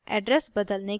address बदलने के लिए